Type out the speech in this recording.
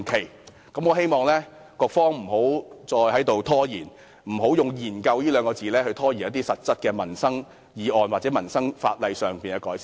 因此，我希望局方不要再拖延，以"研究"二字拖延一些實質的民生議案或民生法例的改善。